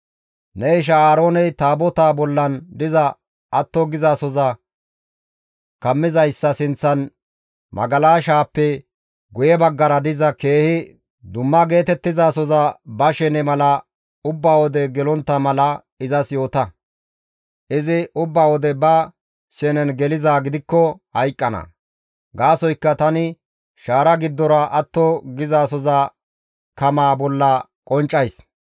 «Ne isha Aarooney Taabotaa bollan diza atto gizasoza kammizayssa sinththan magalashaappe guye baggara diza keehi dumma geetettizasoza ba shene mala ubba wode gelontta mala izas yoota; izi ubba wode ba shenen gelizaa gidikko hayqqana; gaasoykka tani shaara giddora atto gizasoza kamaa bolla qonccays.